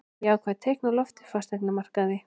Jákvæð teikn á lofti á fasteignamarkaði